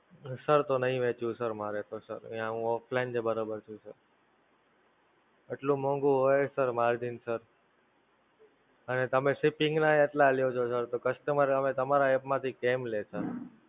Sir તો નહિ વેંચવું Sir મારે તો Sir, યાં હું Online જ બરોબર છું. એટલું મોંઘું હોય Sir Margin Sir! અને તમે Shipping નાં ય્ એટલા લ્યો છો Sir, તો Customer હવે તમારા App માંથી કેમ લે Sir?